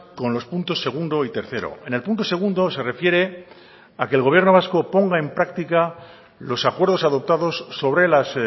con los puntos segundo y tercero en el punto segundo se refiere a que el gobierno vasco ponga en práctica los acuerdos adoptados sobre las